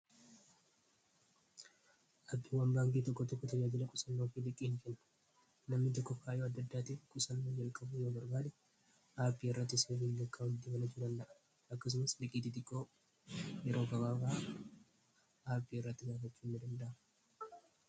Aappii waan baankii tokko tokko tajaajila qusannoo fi liqiiin ken namni doko faayoo addaddaatiif qusannoo jalqabu yoo marbaale aappii irratti siifii lakkaa utti mala julalla'a akkasumas liqiitii xiqqoo yeroo kabaraa aapii irratti gaafachuu inni danda'a.